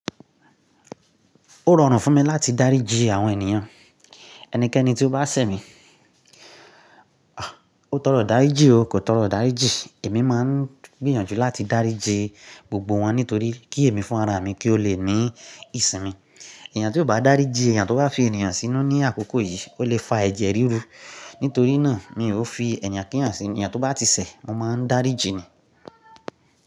Ó rọrùn fún mi láti dáríji àwọn ènìyàn, ẹnikẹ́ni tí ó bá ṣẹ̀ mí, àh! Ó tọrọ dàríji o, kò tọrọ dàríji, èmi máa ń gbìyànjú láti dáríji gbogbo wọn nítorí kí èmi fún ara mi kí ó lè ní ìsìn mi. Èèyàn tí kò bá dáríji ẹ̀yàn tó bá fi èèyàn sínú ní àkókò yìí ó lè fa ẹ̀jẹ̀ ríru. Nítorí náà mi ò fi ẹ̀yàn kí èèyàn sí, èèyàn tó bá ti ṣẹ̀ mo máa ń dáríji ni.